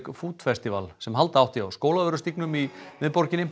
food festival sem halda átti á Skólavörðustígnum í miðborginni